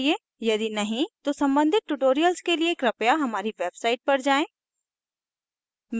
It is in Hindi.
यदि नहीं तो सम्बंधित tutorials के लिए कृपया हमारी website पर जाएँ